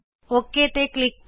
okay ਤੇ click ਕਰੋ